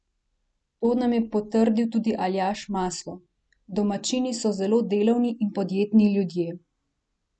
To nam je potrdil tudi Aljaž Maslo: "Domačini so zelo delavni in podjetni ljudje.